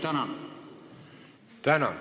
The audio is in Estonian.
Tänan!